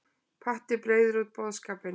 Patti breiðir út boðskapinn